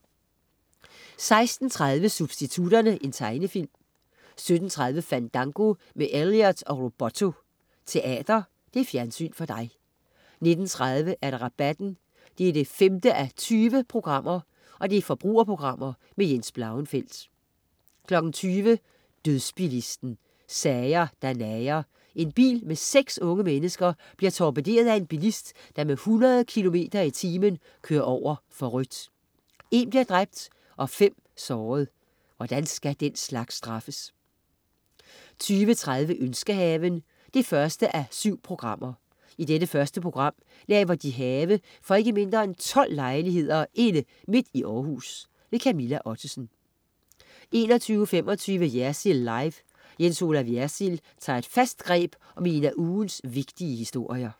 16.30 Substitutterne. Tegnefilm 17.30 Fandango med Elliott & Robotto, Teater. Fjernsyn for dig 19.30 Rabatten 5:20. Forbrugerprogram. Jens Blauenfeldt 20.00 Dødsbilisten. Sager, der nager. En bil med seks unge mennesker bliver torpederet af en bilist, der med 100 km i timen kører over for rødt. En bliver dræbt og fem såret. Hvordan skal den slags straffes? 20.30 Ønskehaven. 1:7 I det første program laver de have for ikke mindre end 12 lejligheder inde midt i Århus! Camilla Ottesen 21.25 Jersild Live. Jens Olaf Jersild tager et fast greb om en af ugens vigtige historier